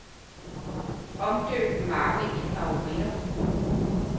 Omdøb mappe i favoritter.